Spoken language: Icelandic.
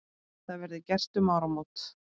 Það verði gert um áramót.